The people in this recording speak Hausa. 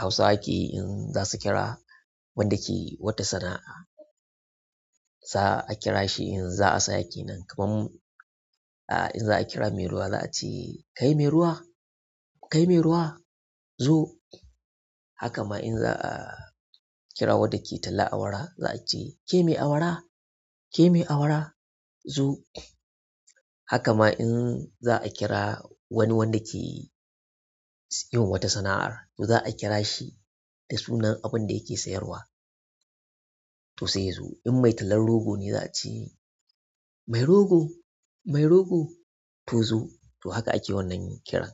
Hausawa ke in za su kira wanda ke wata sana'a. Za'a a kira shi in za a saya kenan, kamar in za a kira mai ruwa za a ce "Kai mai ruwa! Kai mai ruwa! Zo." Haka ma in za a kira wanda ke talla awara, za a ce "Ke mai awara! Ke mai awara! Zo." Haka ma in za a kira wani wanda ke yi ma wata sana'a, to za a kira shi da sunan abin da yake sayarwa, to sai ya zo. In mai tallan rogo ne za a ce "Mai rogo! Mai rogo! To zo." To haka ake wannan kiran.